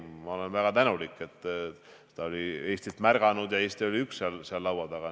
Ma olen väga tänulik, et ta on Eestit märganud ja Eesti oli üks seal laua taga.